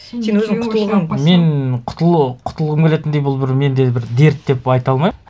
мен құтылу құтылғым келетіндей бұл бір менде бір дерт деп айта алмаймын